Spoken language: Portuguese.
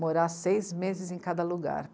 morar seis meses em cada lugar.